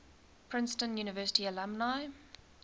princeton university alumni